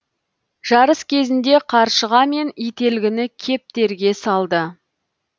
жарыс кезінде қаршыға мен ителгіні кептерге салды